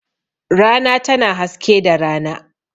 Rana tana haske da rana.